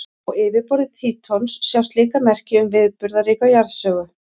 Á yfirborði Trítons sjást líka merki um viðburðaríka jarðsögu.